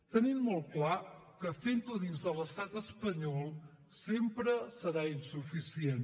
tenim molt clar que fent ho dins de l’estat espanyol sempre serà insuficient